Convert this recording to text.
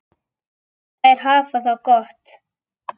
Þær hafa það gott.